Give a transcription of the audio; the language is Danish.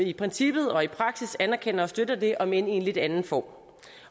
i princippet og i praksis anerkender og støtter det om end i en lidt anden form